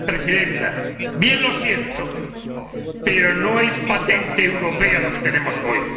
Señora Presidenta, bien lo siento, pero no es patente europea lo que tenemos hoy.